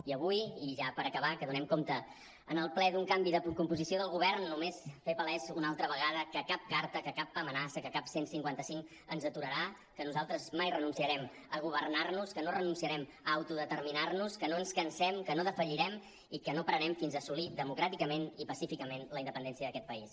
i avui i ja per acabar que donem compte en el ple d’un canvi de composició del govern només fer palès una altra vegada que cap carta que cap amenaça que cap cent i cinquanta cinc ens aturarà que nosaltres mai renunciarem a governar·nos que no renunciarem a autodeterminar·nos que no ens cansem que no defallirem i que no pararem fins a assolir democràticament i pacíficament la independència d’aquest país